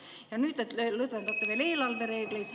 Ja nüüd te lõdvendate eelarvereegleid.